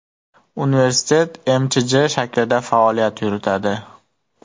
Universitet MChJ shaklida faoliyat yuritadi.